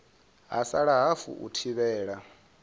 ha sala hafu u thivhela